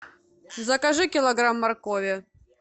закажи килограмм моркови